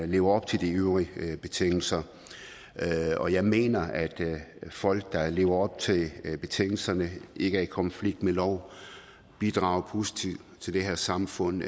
lever op til de øvrige betingelser og jeg mener at folk der lever op til betingelserne ikke er i konflikt med loven bidrager positivt til det her samfund